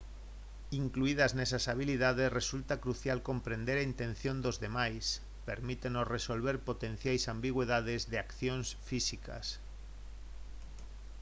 incluídas nesas habilidades resulta crucial comprender a intención dos demais permítenos resolver potenciais ambigüidades de accións físicas